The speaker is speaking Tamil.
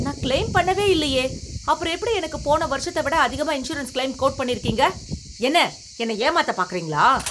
நான் கிளெய்ம் பண்ணவே இல்லையே, அப்புறம் எப்படி எனக்கு போன வருஷத்தை விட அதிகமா இன்சூரன்ஸ் கிளெய்ம் கோட் பண்ணியிருக்கீங்க? என்ன, என்னை ஏமாத்த பார்க்கிறீங்களா?